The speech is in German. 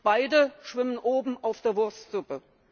Beide schwimmen oben auf der Wurstsuppe.